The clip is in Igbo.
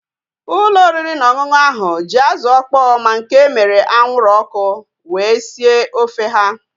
Ụlọ oriri na ọṅụṅụ ahu ji azụ ọkpọ ma nke emere anwụrụ ọkụ wee sie ofe ha